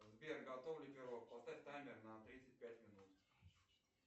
сбер готов ли пирог поставь таймер на тридцать пять минут